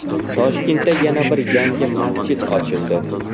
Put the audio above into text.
Toshkentda yana bir yangi masjid ochildi .